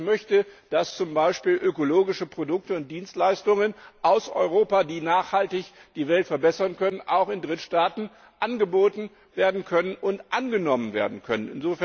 Ich möchte, dass zum Beispiel ökologische Produkte und Dienstleistungen aus Europa, die nachhaltig die Welt verbessern können, auch in Drittstaaten angeboten und angenommen werden können.